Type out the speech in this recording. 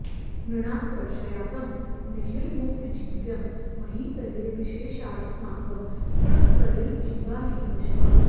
नृणां वर्षायत्तं निखिलमुपजीव्यं महितले विशेषादस्माकं तृणसलिलजीवा हि पशवः